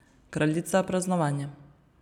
Kraljica praznovanja.